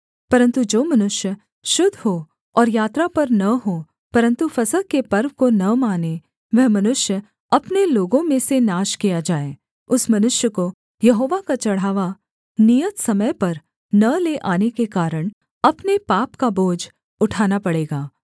परन्तु जो मनुष्य शुद्ध हो और यात्रा पर न हो परन्तु फसह के पर्व को न माने वह मनुष्य अपने लोगों में से नाश किया जाए उस मनुष्य को यहोवा का चढ़ावा नियत समय पर न ले आने के कारण अपने पाप का बोझ उठाना पड़ेगा